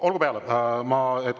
Olgu peale.